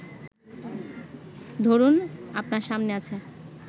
ধরুন, আপনার সামনে আছে